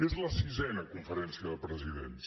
és la quarta conferència de presidents